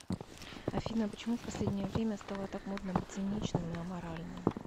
афина почему в последнее время стало так модно быть циничным и аморальным